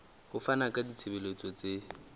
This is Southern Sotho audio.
ho fana ka ditshebeletso tse